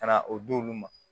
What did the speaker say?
Ka na o di olu ma